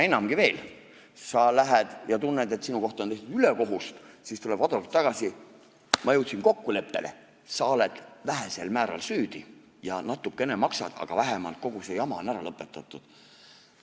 Enamgi veel, sa lähed ja tunned, et sulle on tehtud ülekohut, siis tuleb advokaat tagasi: ma jõudsin kokkuleppele, sa oled vähesel määral süüdi ja natukene maksad, aga vähemalt kogu see jama on ära lõpetatud.